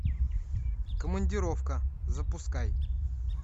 командировка запускай